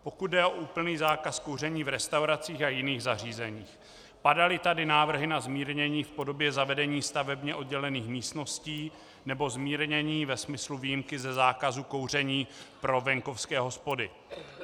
Pokud jde o úplný zákaz kouření v restauracích a jiných zařízeních, padaly tady návrh na zmírnění v podobě zavedení stavebně oddělených místností nebo zmírnění ve smyslu výjimky ze zákazu kouření pro venkovské hospody.